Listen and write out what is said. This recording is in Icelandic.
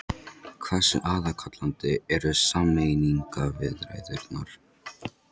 Hversu aðkallandi eru sameiningarviðræðurnar?